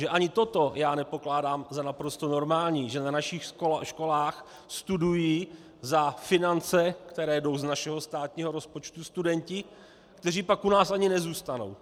Že ani toto já nepokládám za naprosto normální, že na našich školách studují za finance, které jdou z našeho státního rozpočtu, studenti, kteří pak u nás ani nezůstanou.